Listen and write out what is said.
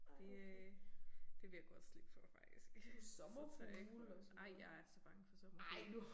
Det øh det vil jeg godt slippe for faktisk. Så tør jeg ikke ej jeg er så bange for sommerfugle